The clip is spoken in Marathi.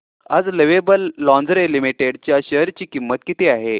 आज लवेबल लॉन्जरे लिमिटेड च्या शेअर ची किंमत किती आहे